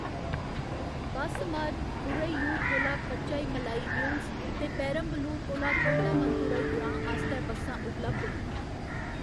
बस मार्ग, थुरैयूर कोला पचाईमलाई हिल्स ते पेरम्बलुर कोला थोंडामंथुरई ग्रां आस्तै बस्सां उपलब्ध न।